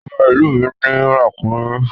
Ọba ìlú mi ní ràkúnmí.